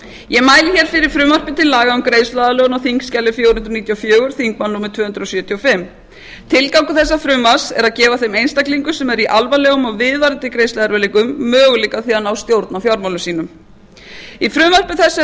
ég mæli hér fyrir frumvarpi til laga um greiðsluaðlögun á þingskjali fjögur hundruð níutíu og fjögur þingmál númer tvö hundruð sjötíu og fimm tilgangur þessa frumvarps er að gefa þeim einstaklingum sem eru í alvarlegum og viðvarandi greiðsluerfiðleikum möguleika á því að ná stjórn á fjármálum sínum í frumvarpi þessu er